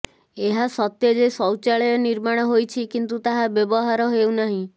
ଏହା ସତ୍ୟ ଯେ ଶୌଚ୍ଚାଳୟ ନିର୍ମାଣ ହୋଇଛି କିନ୍ତୁ ତାହା ବ୍ୟବହାର ହେଉନାହିଁ